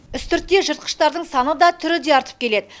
үстіртте жыртқыштардың саны да түрі де артып келеді